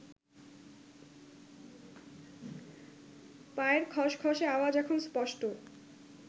পায়ের খসখসে আওয়াজ এখন স্পষ্ট